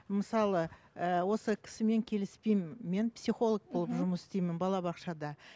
мысалы ііі осы кісімен келіспеймін мен психолог болып жұмыс істеймін балабақшада